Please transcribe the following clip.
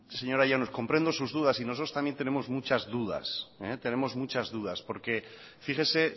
señora llanos comprendo sus dudas y nosotros también tenemos muchas dudas porque fíjese